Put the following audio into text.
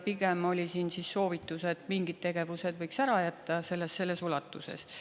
Pigem oli siin soovitus, et mingid tegevused võiks ära jätta selles ulatuses.